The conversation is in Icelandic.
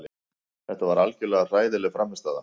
Þetta var algjörlega hræðileg frammistaða.